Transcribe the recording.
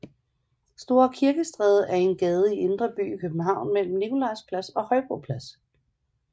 Store Kirkestræde er en gade i Indre By i København mellem Nikolaj Plads og Højbro Plads